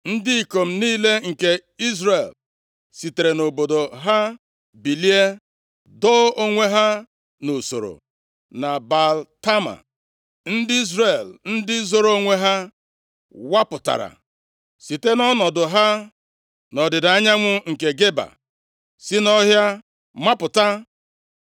Ndị ikom niile nke Izrel sitere nʼọnọdụ ha bilie, doo onwe ha nʼusoro na Baal-Tama, ndị Izrel ndị zoro onwe ha wapụtara site nʼọnọdụ ha nʼọdịda anyanwụ nke Geba, si nʼọhịa mapụta.